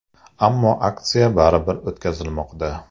Ammo aksiya baribir o‘tkazilmoqda.